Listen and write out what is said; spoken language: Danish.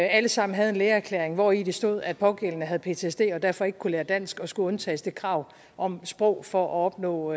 alle sammen havde en lægeerklæring hvori der stod at pågældende havde ptsd og derfor ikke kunne lære dansk og skulle undtages det krav om sprog for at opnå